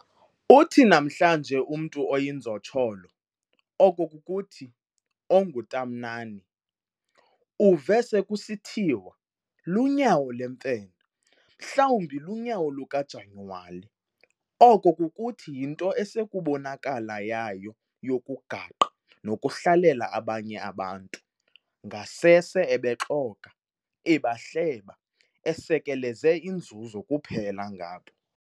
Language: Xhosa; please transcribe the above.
Uthi namhlanje umntu oyinzotsholo, oko kukuthi, onguntamnani, uve sekusithiwa, "Lunyawo lwemfene", mhlawumbi lunyawo luka-Janyuwali, oko kukuthi yinto esekubonakala yayo yokugaqa nokuhlalela abanye abantu, ngasese ebexoka, ebahleba, esekeleze inzuzo kuphela ngabo.